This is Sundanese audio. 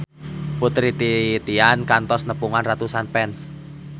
Putri Titian kantos nepungan ratusan fans